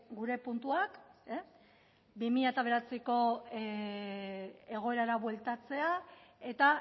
gure puntuak bi mila bederatziko egoerara bueltatzea eta